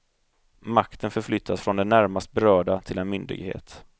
Makten förflyttas från den närmast berörda till en myndighet.